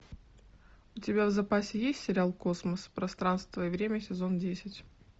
у тебя в запасе есть сериал космос пространство и время сезон десять